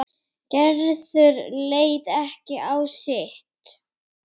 Gerður leit ekki á sitt.